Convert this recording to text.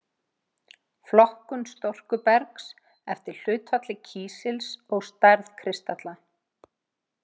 Flokkun storkubergs eftir hlutfalli kísils og stærð kristalla.